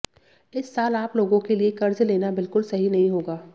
इस साल आप लोगों के लिए कर्ज लेना बिल्कुल सही नहीं होगा